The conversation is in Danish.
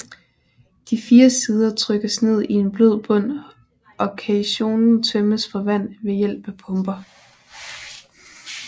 De fire sider trykkes ned i en blød bund og caissonen tømmes for vand ved hjælp af pumper